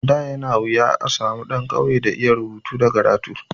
Da yana wuya a samu ɗan ƙauye da ya iya rubutu da karatu.